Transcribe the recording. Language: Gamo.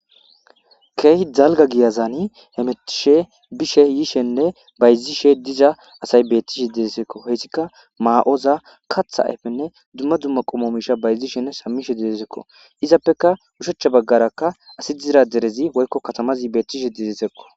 Keehi dalga giyazani hemetishe bishe yishenne bayzishe diza asay beettishe deresekko heyssika ma7oza katha ayfenne dumma dumma qommo misha bayzishenne sammishe deresekko izappeka ushachcha baggarakka asi dizra derezi woykko katamazi beettishe dedesekko.